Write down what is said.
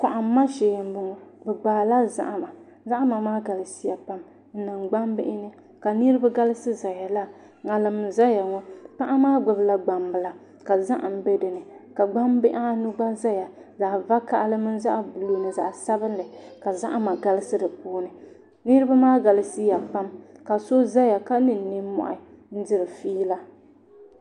Kohamma shee n bɔŋɔ bi gbaala zahama zahama maa galisiya pam n niŋ gbambihi ni ka niraba galisi ʒɛya laa ŋarim n ʒɛya ŋɔ paɣa maa gbubila gbambila ka zaham bɛ dinni ka gbambihi anu gba ʒɛya zaɣ vakaɣali mini zaɣ buluu ni zaɣ sabinli ka zahama galisi di puuni niraba maa galisiya pam ka so ʒɛya ka niŋ nimmohi n diri fiila